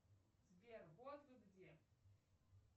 сбер вот вы где